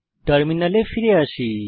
টার্মিনালে ফিরে আসি